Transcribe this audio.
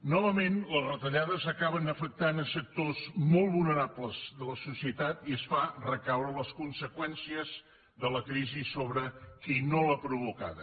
novament les retallades acaben afectant sectors molt vulnerables de la societat i es fan recaure les conseqüències de la crisi sobre qui no l’ha provocada